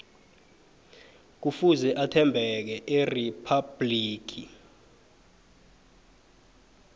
kufuze athembeke eriphabhligi